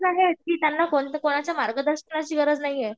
कोणाच्या मार्गदर्शनाची गरज नाहीये.